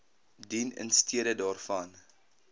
dien instede daarvan